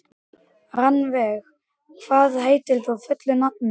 Rannveig, hvað heitir þú fullu nafni?